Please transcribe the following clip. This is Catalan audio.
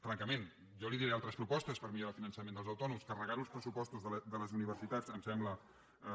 francament jo li diré altres propostes per millorar el finançament dels autònoms carregar ho als pressupostos de les universitats em sembla una cosa